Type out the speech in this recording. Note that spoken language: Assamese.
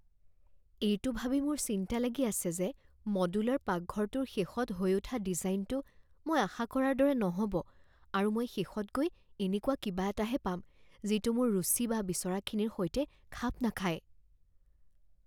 এইটো ভাবি মোৰ চিন্তা লাগি আছে যে মডুলাৰ পাকঘৰটোৰ শেষত হৈ উঠা ডিজাইনটো মই আশা কৰাৰ দৰে নহ'ব আৰু মই শেষত গৈ এনেকুৱা কিবা এটাহে পাম যিটো মোৰ ৰুচি বা বিচৰাখিনিৰ সৈতে খাপ নাখায়।